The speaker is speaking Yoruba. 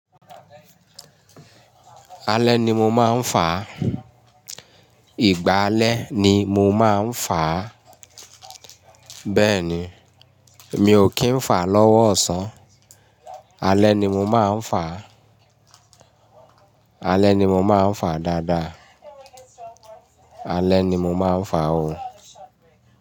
Alẹ́ ni mo máa ń fàá. Ìgbà alẹ́ ni mo máa ń fàá. Bẹ́ẹ̀ni, mi ò kì í n fàá lọ́wọ́ ọ̀sán. Alẹ́ ni mo máa ń fàá. Alẹ́ ni mo máa ń fàá dáadáa. Alẹ́ ni mo máa ń fàá o.